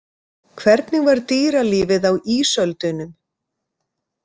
Hvernig var dýralífið á ísöldunum?